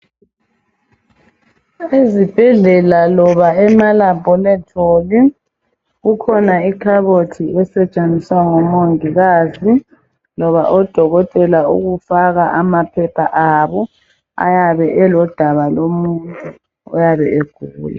Ezibhedlela loba emalabholetholi kukhona ikhabothi esetshenziswa ngomongikazi kumbe odokotela ukufaka amaphepha abo ayabe elodaba lomuntu oyabe egula